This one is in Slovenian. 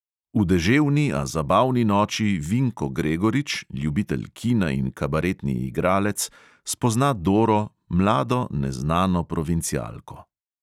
V deževni, a zabavni noči vinko gregorič, ljubitelj kina in kabaretni igralec, spozna doro, mlado neznano provincialko.